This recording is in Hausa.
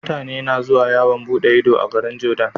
Mutane na zuwa yawan buɗe Ido a garin jordan